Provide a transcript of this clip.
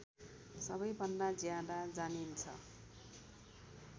सबैभन्दा ज्यादा जानिन्छ